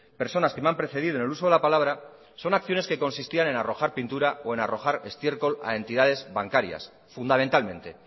personas que me han precedido en el uso de la palabra son acciones que consistían en arrojar pintura o en arrojar estiércol a entidades bancarias fundamentalmente